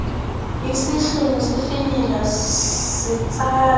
isihlunu sifinyela sitsala